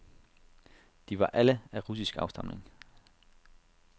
De var alle af russisk afstamning.